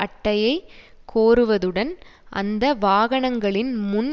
அட்டையைக் கோருவதுடன் அந்த வாகனங்களின் முன்